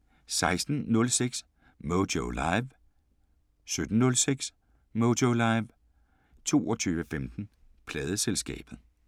16:06: Moyo Live 17:06: Moyo Live 22:15: Pladeselskabet